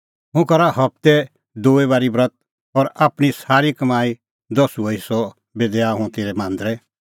हुंह करा हबते दूई बारी ब्रत और आपणीं सारी कमाईओ दसुअ हेस्सअ बी दैआ हुंह तेरै मांदरै